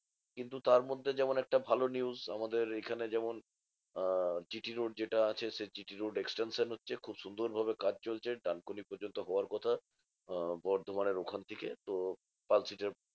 কিন্তু তারমধ্যে যেমন একটা ভালো news আমাদের এইখানে যেমন আহ GT road যেটা আছে সেই GT road extension হচ্ছে। খুব সুন্দর ভাবে কাজ চলছে, ডানকুনি পর্যন্ত হওয়ার কথা। আহ বর্ধমানের ওখান থেকে তো পালশিটের